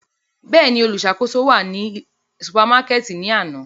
Bẹ́ẹ̀ni, oluṣakoso náà wa ni supamakẹti ni ana.